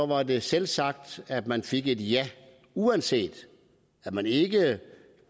var det selvsagt at man fik et ja uanset at man ikke